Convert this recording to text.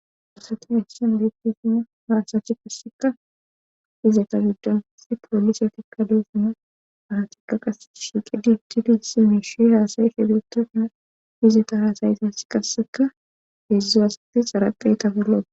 Farseti heshshen beettesina haasachi passeka ize ta gidanes poolise tikkaleesina anatikka qasse shiiqi diti di hisi mish haasayi fidetauna izeta haasayites qasseka hedzdzu asati xaraqe tafelo